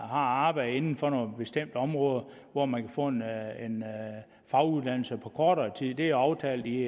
har arbejde inden for nogle bestemte områder hvor man kan få en faguddannelse på kortere tid det er aftalt i